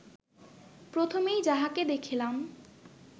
প্রথমেই যাহাকে দেখিলাম